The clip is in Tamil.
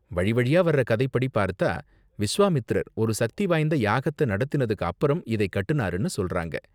வழி வழியா வர்ற கதைப்படி பார்த்தா, விஸ்வாமித்திரர், ஒரு சக்தி வாய்ந்த யாகத்த நடத்தினதுக்கு அப்பறம் இதை கட்டுனாருனு சொல்றாங்க.